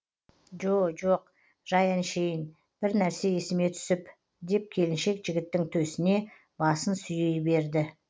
жо жоқ жай әншейін бір нәрсе есіме түсіп деп келіншек жігіттің төсіне басын сүйей берді